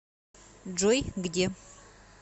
джой где